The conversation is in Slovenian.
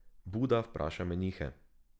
Buda vpraša menihe.